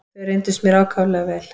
Þau reyndust mér ákaflega vel.